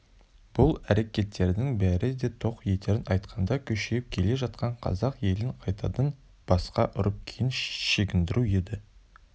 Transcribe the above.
бұл әрекеттердің бәрі де тоқ етерін айтқанда күшейіп келе жатқан қазақ елін қайтадан басқа ұрып кейін шегіндіру еді